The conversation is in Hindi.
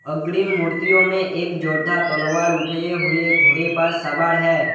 अग्रिम मूर्तियों में एक जोरदार तलवार उठाए हुए घोड़े पर सवार है।